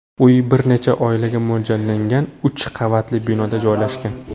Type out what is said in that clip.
Uy bir necha oilaga mo‘ljallangan uch qavatli binoda joylashgan.